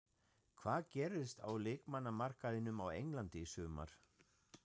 Hvað gerist á leikmannamarkaðinum á Englandi í sumar?